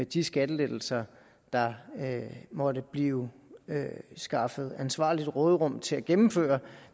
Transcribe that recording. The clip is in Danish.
de skattelettelser der måtte blive skaffet et ansvarligt råderum til at gennemføre